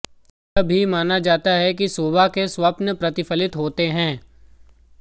यह भी माना जाता है कि सुबह के स्वप्न प्रतिफलित होते हैं